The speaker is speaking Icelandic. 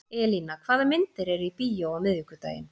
Elína, hvaða myndir eru í bíó á miðvikudaginn?